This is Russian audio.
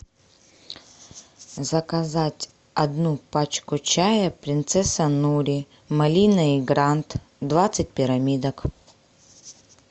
заказать одну пачку чая принцесса нури малина и грант двадцать пирамидок